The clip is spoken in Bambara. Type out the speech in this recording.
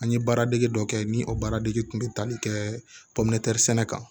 An ye baaradege dɔ kɛ ni o baaradege tun bɛ tali kɛ sɛnɛ kan